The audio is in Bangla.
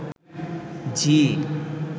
ঝি